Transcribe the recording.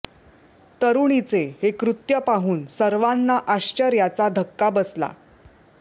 तरुणीचे हे कृत्य पाहून सर्वांना आश्चर्याचा धक्का बसला